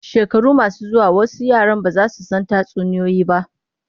Shekaru masu zuwa wasu yaran ba za su san tatsuniyoyi ba.